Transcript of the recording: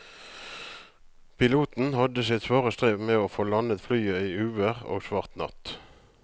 Piloten hadde sitt svare strev med å få landet flyet i uvær og svart natt.